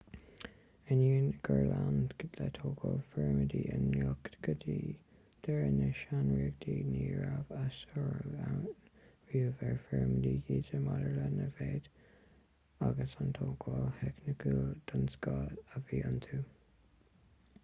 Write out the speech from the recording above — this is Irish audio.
ainneoin gur lean le tógáil phirimidí i gcloch go dtí deireadh na sean-ríochta ní raibh a sárú ann riamh ar phirimidí giza maidir lena méid agus an tógáil theicniúil den scoth a bhí iontu